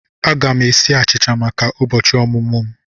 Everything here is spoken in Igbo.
Aga m esi achicha maka ụbọchị ọmụmụ m.